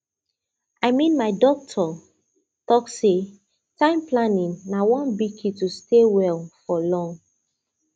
i mean my doctor talk say time planning na one big key to stay well for long